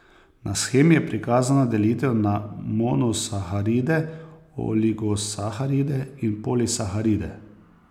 Na shemi je prikazana delitev na monosaharide, oligosaharide in polisaharide.